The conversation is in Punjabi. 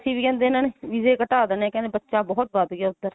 ਵੈਸੇ ਵੀ ਇਹਨਾਂ ਨੇ ਵੀਜ਼ੇ ਘਟਾ ਦੇਣੇ ਨੇ ਇਹਨਾਂ ਨੇ ਕਹਿੰਦੇ ਬੱਚਾ ਬਹੁਤ ਵੱਧ ਗਿਆ ਉੱਧਰ